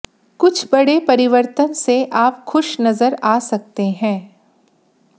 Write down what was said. कुछ बड़े परिवर्तन से आप खुश नजर आ सकते हैं